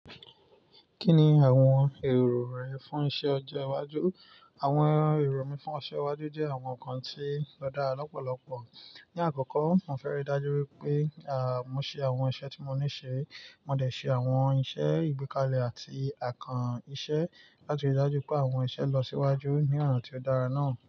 Kí ni àwọn èrò rẹ fún iṣẹ ọjọ́ iwájú? Àwọn èrò mi fún ọjọ́ iwájú jẹ́ àwọn nǹkan tí ó dára lọ́pọ̀lọpọ̀. Ní àkọ́kọ́, mo fẹ́ rí i dájú pé, à, mo ṣe àwọn iṣẹ́ tí mo níṣe, mo dẹ̀ ṣe àwọn iṣẹ́ ìgbékalẹ̀ àti àkàn íṣe láti rí i dájú pé àwọn iṣẹ́ lọ síwájú ní ọ̀ná tí ó dára náà.